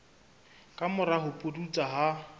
ka mora ho pudutsa ha